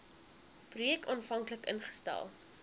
projek aanvanklik ingestel